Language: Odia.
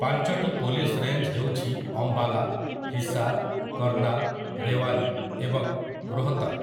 ପାଞ୍ଚଟି ପୋଲିସ ରେଞ୍ଜ୍ ହେଉଛି ଅମ୍ବାଲା, ହିସାର୍, କର୍ଣ୍ଣାଲ୍, ରେୱାରୀ ଏବଂ ରୋହ୍‌ତକ୍ ।